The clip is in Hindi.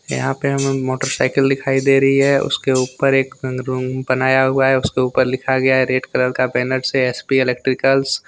यहां पे हमे मोटरसाइकिल दिखाई दे रही है उसके ऊपर एक रूम बनाया हुआ है उसके ऊपर लिखा गया है रेड कलर का बेनेट से एस पी इलेक्ट्रिकल्स ।